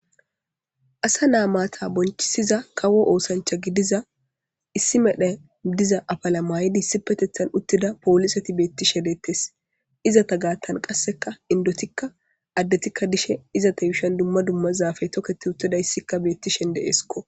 asa naa maata bonchisiza kawo oosancha gidiza issi medha diza apala maaydissi petethan uttida poolisati beetti shedeettes izata gaattan qasseka indotikka addetikka dishe izata yushan dumma dumma zaafe tokketi uttada issikka beetti shende eeskko